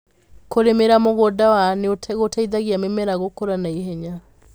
Kũrĩmĩra mũgũnda wa nĩgũteithagia mĩmera gũkũra na ihenya.